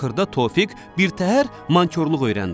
Axırda Tofiq birtəhər mantyorluq öyrəndi.